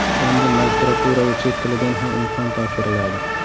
Endi magistraturaga chet tilidan ham imtihon topshiriladi.